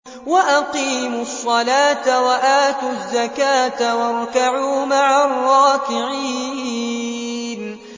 وَأَقِيمُوا الصَّلَاةَ وَآتُوا الزَّكَاةَ وَارْكَعُوا مَعَ الرَّاكِعِينَ